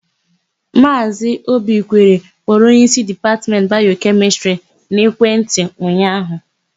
Maazị Obikwere kpọrọ onyeísí Dipatmentị Bayokemịstịrị n'ekwentị ụnyaahụ.